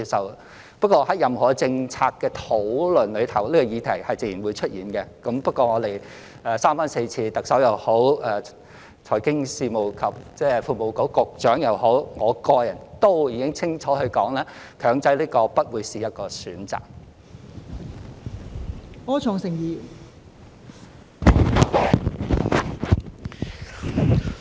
然而，在任何政策的討論中，這個議題是自然會出現的，但無論是特首、財經事務及庫務局局長或我個人，都已經三番四次清楚說明，"強制"不會是一個選項。